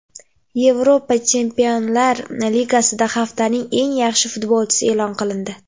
Yevropa Chempionlar Ligasida haftaning eng yaxshi futbolchisi e’lon qilindi.